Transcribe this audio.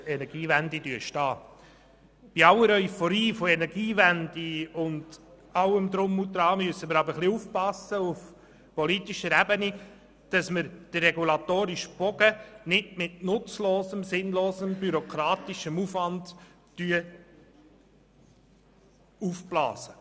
Bei aller Euphorie gegenüber der Energiewende müssen wir aber auf politischer Ebene aufpassen, dass wir den regulatorischen Bogen nicht mit nutzlosem und sinnlosem bürokratischen Aufwand überspannen.